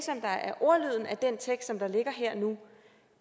ordlyden af den tekst som der ligger her og nu